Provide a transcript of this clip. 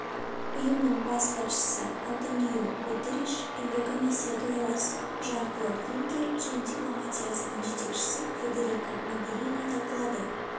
ұйымның бас хатшысы антониу гуттериш еурокомиссия төрағасы жан-клод юнкер және дипломатиясының жетекшісі федерика могерини талқылады